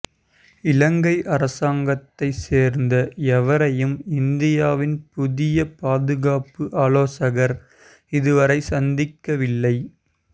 இலங்கை அரசாங்கத்தை சேர்ந்த எவரையும் இந்தியாவின் புதிய பாதுகாப்பு ஆலோசகர் இதுவரை சந்திக்கவில்லை